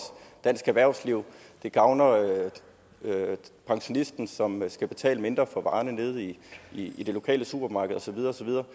dansk erhvervsliv det gavner pensionisten som skal betale mindre for varerne nede i i det lokale supermarked og så videre og så videre